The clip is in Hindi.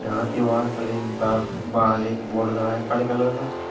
यहां दीवार पर एक बा बाहर एक बोर्ड लगा है काले कलर का।